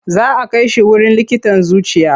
Za a kai shi wurin likitan zuciya.